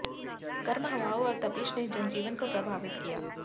गर्म हवाओं और तपिश ने जनजीवन को प्रभावित किया